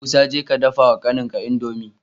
Musa jeka ka dafa wa kanin ka indomie